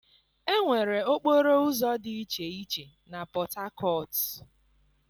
Enwere okporo ụzọ dị iche iche na Port Harcourt.